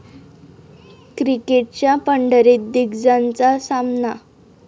क्रिकेटच्या पंढरीत दिग्गजांचा सामना